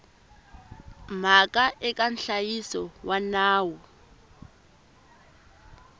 mhaka eka nhlayiso wa nawu